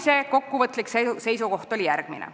Madise kokkuvõtlik seisukoht oli järgmine.